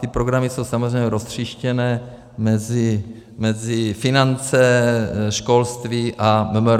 Ty programy jsou samozřejmě roztříštěné mezi finance, školství a MMR.